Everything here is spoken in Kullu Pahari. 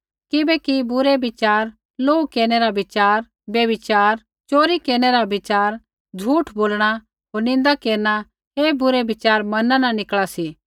किबैकि बुरै विचार लोहू केरनै रा विचार व्यभिचार च़ोरी केरनै रा विचार झ़ूठ बोलणा होर निन्दा केरना ऐ बुरै विच़ार मना न निकल़ा सी